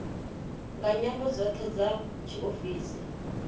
nga nyambo dzoṱhe dza tshiofisi